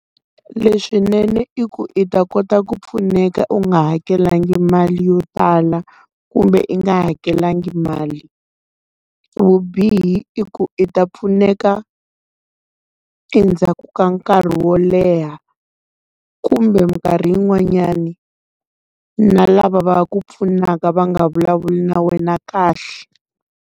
Leswinene i ku i ta kota ku pfuneka u nga hakelanga mali yo tala kumbe i nga hakelanga mali. Vubihi i ku i ta pfuneka endzhaku ka nkarhi wo leha, kumbe minkarhi yin'wanyani na lava va ku pfunaka va nga vulavuli na wena kahle.